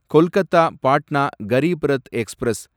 Kolkata Patna Garib Rath express